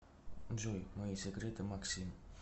джой мои секреты максим